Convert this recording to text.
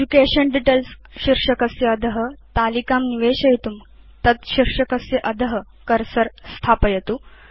education Details शीर्षकस्य अध तालिकां निवेशयितुं कर्सर तद्शीर्षकस्य अध स्थापयतु